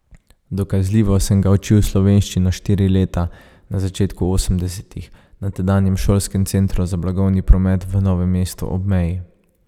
Dokazljivo sem ga učil slovenščino štiri leta, na začetku osemdesetih, na tedanjem Šolskem centru za blagovni promet v novem mestu ob meji.